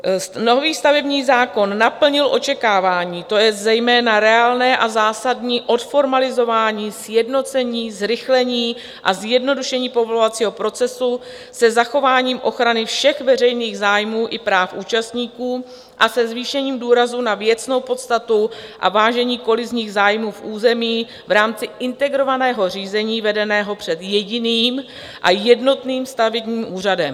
Nový stavební zákon naplnil očekávání, to je zejména reálné a zásadní odformalizování, sjednocení, zrychlení a zjednodušení povolovacího procesu se zachováním ochrany všech veřejných zájmů i práv účastníků a se zvýšením důrazu na věcnou podstatu a vážení kolizních zájmů v území v rámci integrovaného řízení vedeného před jediným a jednotným stavebním úřadem.